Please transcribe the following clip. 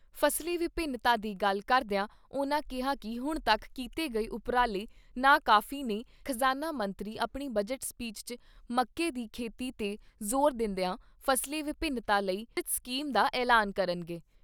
ਫਸਲੀ ਵਿਭਿੰਨਤਾ ਦੀ ਗੱਲ ਕਰਦਿਆਂ ਉਨ੍ਹਾਂ ਕਿਹਾ ਕਿ ਹੁਣ ਤੱਕ ਕੀਤੇ ਗਏ ਉਪਰਾਲੇ ਨਾ ਕਾਫੀ ਨੇ ਖਜਾਨਾ ਮੰਤਰੀ ਆਪਣੀ ਬਜਟ ਸਪੀਚ 'ਚ ਮੌਕੇ ਦੀ ਖੇਤੀ ਤੇ ਜ਼ੋਰ ਦਿੰਦਿਆਂ, ਫਸਲੀ ਵਿਭਿੰਨਤਾ ਲਈ ਵਿਸਤਰਿਤ ਸਕੀਮ ਦਾ ਐਲਾਨ ਕਰਨਗੇ।